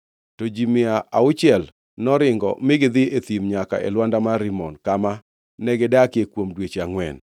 To ji mia auchiel noringo mi gidhi e thim nyaka e lwanda mar Rimon, kama negidakie kuom dweche angʼwen.